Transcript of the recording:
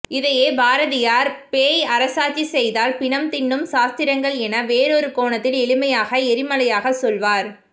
இதையே பாரதியார் பேய் அரசாட்சி செய்தால் பிணம் தின்னும் சாஸ்திரங்கள் என வேறொரு கோணத்தில் எளிமையாக எரிமலையாக சொல்வார்